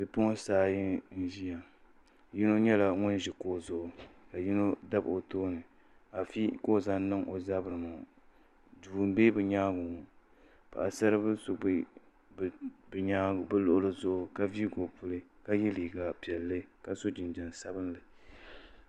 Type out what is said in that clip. Bipuɣunsi ayi n ʒiya yino nyɛla ŋun ʒi kuɣu zuɣu ka yino dabi o tooni afi ka o zaŋ niŋ o zabiri ni ŋo duu n bɛ bi nyaangi ŋo paɣasari bili so bɛ bi luɣuli zuɣu ka viigi o puli ka so jinjɛm sabinli